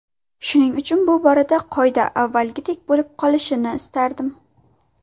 Shuning uchun bu borada qoida avvalgidek bo‘lib qolishini istardim.